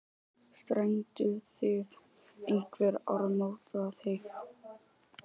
Strengduð þið einhver áramótaheit?